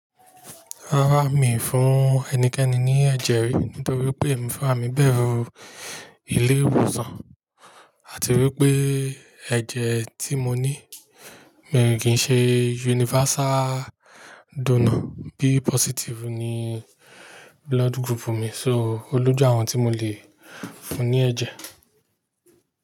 Rárá, mi ò fún ẹnikẹ́ni ní ẹ̀jẹ̀ rí, nítorí pé mi o fẹ́ rà mí bẹ̀rù ilé ìwòsàn, àti wípé ẹ̀jẹ̀ tí mo ní mi ò kí ń ṣe universal donor. B positive ni blood group mi, so olójú àwọn tí mo lè fún ní ẹ̀jẹ̀.